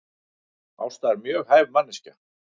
Ásta er mjög hæf manneskja